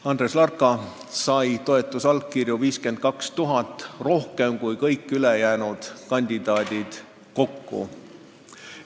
Andres Larka sai toetusallkirju 52 000 rohkem kui kõik ülejäänud kandidaadid kokku.